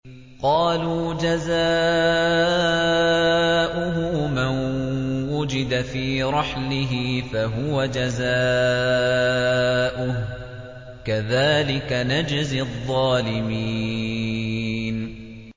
قَالُوا جَزَاؤُهُ مَن وُجِدَ فِي رَحْلِهِ فَهُوَ جَزَاؤُهُ ۚ كَذَٰلِكَ نَجْزِي الظَّالِمِينَ